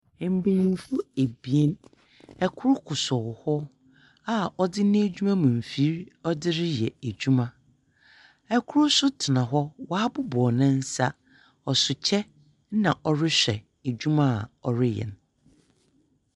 Mpaninfo ebien ɛkoro koso hɔ a ɔde ne adwuma mu mfiri ɔde reyɛ adwuma ɛkoro nso tena hɔ waabobɔw ne nsa ɔso kyɛ na ɔrehwɛ adwuma a ɔreyɛ.